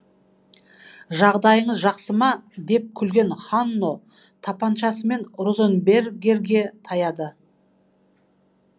жағдайыңыз жақсы ма деп күлген ханно тапаншасымен розенбергерге таяды